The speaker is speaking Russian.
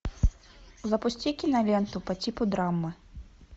запусти киноленту по типу драмы